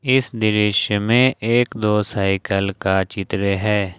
इस दृश्य में एक दो साइकिल का चित्र है।